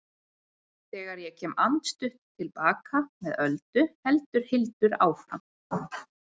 Þegar ég kem andstutt til baka með Öldu heldur Hildur áfram